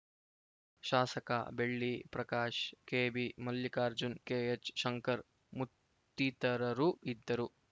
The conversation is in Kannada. ಶಾಸಕ ಬೆಳ್ಳಿ ಪ್ರಕಾಶ್‌ ಕೆಬಿ ಮಲ್ಲಿಕಾರ್ಜುನ್‌ ಕೆಎಚ್‌ಶಂಕರ್‌ ಮುತ್ತಿತರರು ಇದ್ದರು